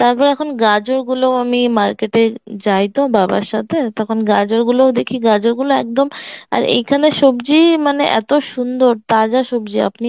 তারপরে এখন গাজর গুলো আমি মার্কেটে যাইতো বাবার সাথে তখন গাজর গুলোও দেখি গাজর গুলো একদম আর এইখানের সবজি মানে এত সুন্দর তাজা সবজি আপনি